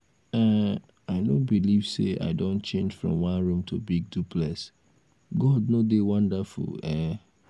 um i no believe say i don change from one room to big duplex. god no dey wonderful um? um?